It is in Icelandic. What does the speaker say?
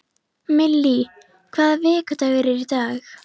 Millý, hvaða vikudagur er í dag?